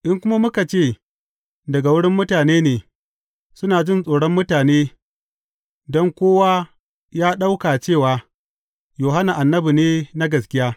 In kuma muka ce, Daga wurin mutane ne’; suna jin tsoron mutane, don kowa ya ɗauka cewa, Yohanna, annabi ne na gaskiya.